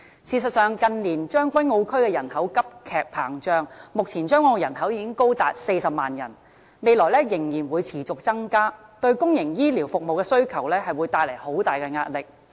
事實上，近年將軍澳區人口急劇膨脹，目前將軍澳人口已高達40萬人，未來仍然會持續增加，對公營醫療服務的需求會帶來很大壓力。